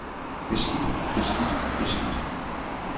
beskidt beskidt beskidt